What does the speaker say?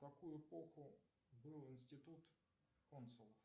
в какую эпоху был институт консулов